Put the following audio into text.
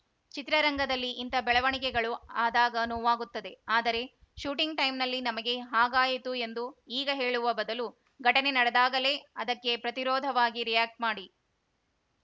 ಚಿತ್ರರಂಗದಲ್ಲಿ ಇಂಥ ಬೆಳವಣಿಗೆಗಳು ಆದಾಗ ನೋವಾಗುತ್ತದೆ ಆದರೆ ಶೂಟಿಂಗ್‌ ಟೈಮ್‌ನಲ್ಲಿ ನಮಗೆ ಹಾಗಾಯಿತು ಎಂದು ಈಗ ಹೇಳುವ ಬದಲು ಘಟನೆ ನಡೆದಾಗಲೇ ಅದಕ್ಕೆ ಪ್ರತಿರೋಧವಾಗಿ ರಿಯಾಕ್ಟ್ ಮಾಡಿ